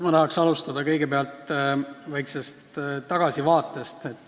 Ma tahan alustada väikesest tagasivaatest.